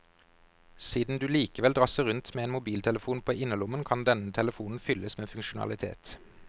Siden du likevel drasser rundt med en mobiltelefon på innerlommen, kan denne telefonen fylles med funksjonalitet.